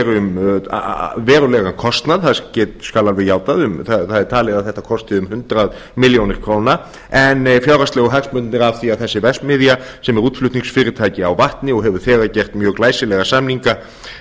um verulegan kostnað það skal alveg játað það er talið að þetta kosti um hundrað milljónir króna en fjárhagslegu hagsmunirnir af því að þessi verksmiðja sem er útflutningsfyrirtæki á vatni og hefur þegar gert mjög glæsilega samninga